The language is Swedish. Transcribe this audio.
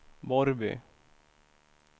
Borrby